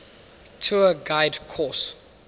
tour guide course